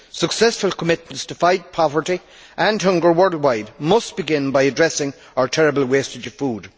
Successful commitments to fight poverty and hunger worldwide must begin by addressing our terrible wastage of food.